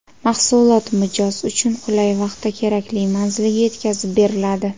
Mahsulot mijoz uchun qulay vaqtda kerakli manzilga yetkazib beriladi.